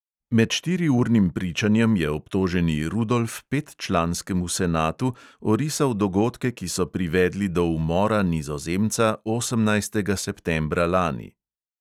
Med štiriurnim pričanjem je obtoženi rudolf petčlanskemu senatu orisal dogodke, ki so privedli do umora nizozemca osemnajstega septembra lani.